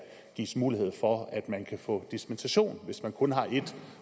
gives mulighed for at man kan få dispensation hvis man kun har et